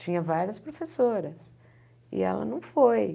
Tinha várias professoras e ela não foi.